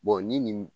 ni nin